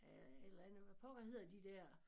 Øh et eller andet hvad pokker hedder de der